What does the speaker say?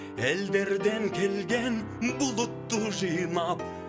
елдерден келген бұлытты жинап